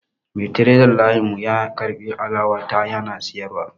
Mai tiredar layin mu ya karbi alawa ta yana siyarwa